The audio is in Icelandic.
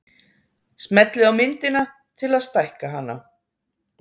smellið á myndina til að stækka hana